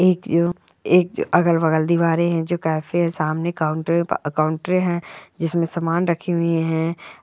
एक जो एक जो अगल बगल दिवारे है जो कैफे सामने काउन्टर के पा काउंटरे है जिसमे समान रखे हुए है।